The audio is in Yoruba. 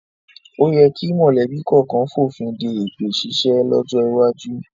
O yẹ kí mọ̀lẹ́bí kọ̀ọ̀kan fònfin de èpè ṣíṣe lọ́jọ́ iwájú